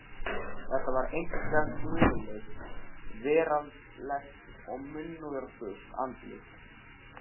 Þetta var einkar guðlaust, veraldlegt og munúðarfullt andlit.